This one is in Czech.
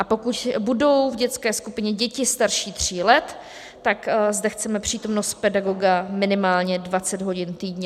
A pokud budou v dětské skupině děti starší tří let, tak zde chceme přítomnost pedagoga minimálně 20 hodin týdně.